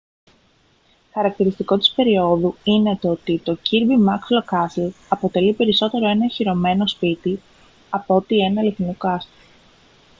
χαρακτηριστικό της περιόδου είναι το ότι το kirby muxloe castle αποτελεί περισσότερο ένα οχυρωμένο σπίτι απ' ότι ένα αληθινό κάστρο